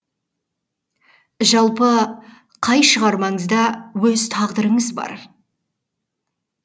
жалпы қай шығармаңызда өз тағдырыңыз бар